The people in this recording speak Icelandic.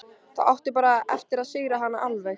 Þá áttu bara eftir að sigra hana alveg.